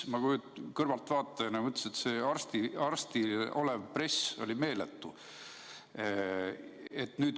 Ma kõrvaltvaatajana mõtlesin, et arstidel peal olev press on meeletu.